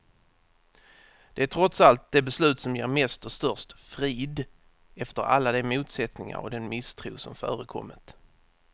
Det är trots allt det beslut som ger mest och störst frid, efter alla de motsättningar och den misstro som förekommit.